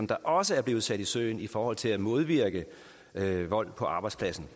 der også er blevet sat i søen i forhold til at modvirke vold på arbejdspladsen